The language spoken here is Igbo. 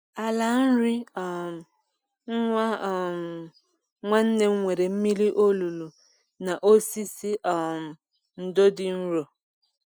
Ala nri um nwa um nwanne m nwere mmiri olulu na osisi um ndo dị nro.